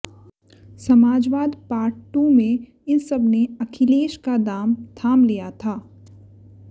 समाजवाद part two में इन सब ने अखिलेश का दाम थाम लिया था